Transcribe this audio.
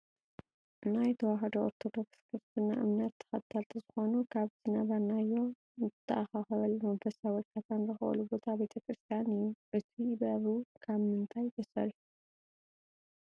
ናይ ተዋህዶ ኦርቶዶክስ ክርስትና እምነት ተከተልቲ ዝኮኑ ካብ ዝነበርናዮ ንትኣከከበሉ መንፈሳዊ እርካታ ንረክበሉ ቦታ ቤተ ክርስትያን እዩ። እቱይ በሩ ካብ ምንታይ ተሰርሑ?